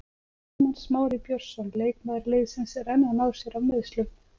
Ármann Smári Björnsson leikmaður liðsins er enn að ná sér af meiðslum.